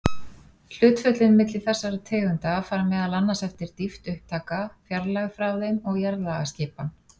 Hlutföllin milli þessara tegunda fara meðal annars eftir dýpt upptaka, fjarlægð frá þeim og jarðlagaskipan.